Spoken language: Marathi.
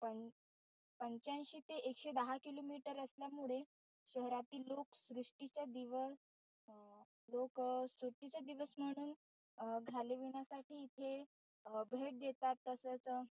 पं पंच्यांशी ते एकशे दहा किलोमीटर असल्यामुळे शहरातील लोक सुट्टीच्या दिवस लोक सुट्टीचे दिवस म्हणून घालविण्यासाठी इथे भेट देतात. तसच,